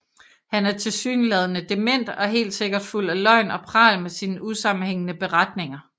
Han er tilsyneladende dement og helt sikkert fuld af løgn og pral med sine usammenhængende beretninger